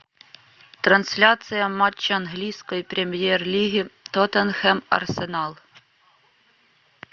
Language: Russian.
трансляция матча английской премьер лиги тоттенхэм арсенал